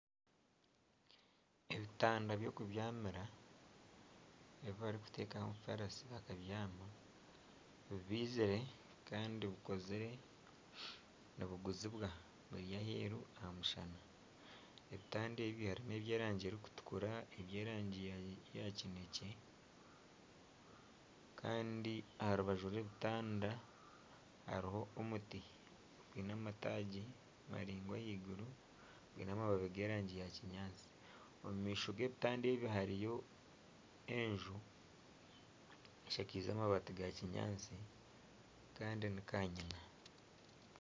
Ebitanda by'okubyamira ebi barikutekaho omufarasi bakabyaama bibizire Kandi bikozire nibiguzibwa biri aheeru aha mushana. Ebitanda ebi n'ebyerangi erikutukura , eby'erangi ya kinekye Kandi aha rubaju rw'ebitanda hariho omuti gwine amataagi maringwa ahaiguru gwine amababi g'erangi ya kinyaatsi . Omu maisho g'ebitande ebyo hariyo enju eshakaize amabati ga kinyaatsi Kandi ni kanyina.